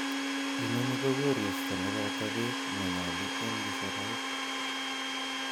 Inoni ko koristo neboto beek nenyolu en keserait.